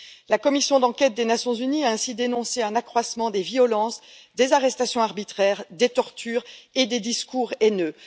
La commission d'enquête des Nations unies a ainsi dénoncé un accroissement des violences, des arrestations arbitraires, des tortures et des discours haineux.